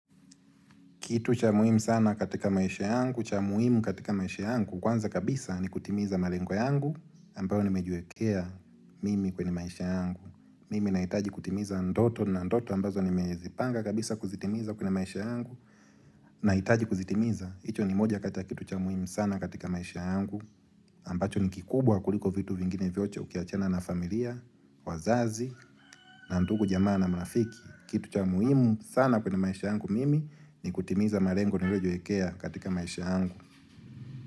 Kitu cha muhimu sana katika maisha yangu, cha muhimu katika maisha yangu, kwanza kabisa ni kutimiza malengo yangu, ambayo nimejiwekea mimi kwenye maisha yangu. Mimi nahitaji kutimiza ndoto na ndoto ambazo nimezipanga kabisa kuzitimiza kwenye maisha yangu, nahitaji kuzitimiza. Hicho ni moja kati ya kitu cha muhimu sana katika maisha yangu, ambacho ni kikubwa kuliko vitu vingine vyote ukiachana na familia, wazazi, na ndugu jamaa na mrafiki. Kitu cha muhimu sana kwenye maisha yangu mimi ni kutimiza malengo niliyojiwekea katika maisha yangu.